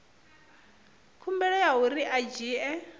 khumbelo ya uri a dzhie